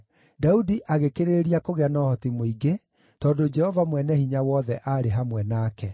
Daudi agĩkĩrĩrĩria kũgĩa na ũhoti mũingĩ, tondũ Jehova Mwene-Hinya-Wothe aarĩ hamwe nake.